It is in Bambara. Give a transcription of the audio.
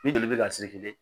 Ni joli bɛ ka